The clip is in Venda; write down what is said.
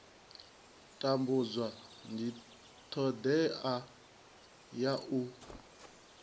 tambudza ndi thodea ya u